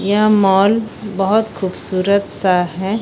यह मॉल बहोत खूबसूरत सा है।